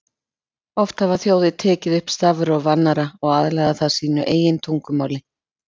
Oft hafa þjóðir tekið upp stafróf annarra og aðlagað það að sínu eigin tungumáli.